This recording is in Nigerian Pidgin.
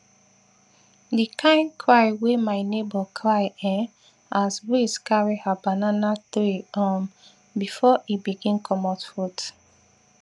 the kin cry wey my neighbour cry[um]as breeze carry her banana tree um before e begin comot fruit